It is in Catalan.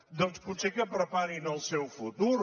doncs potser que preparin el seu futur